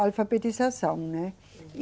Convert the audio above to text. alfabetização, né? E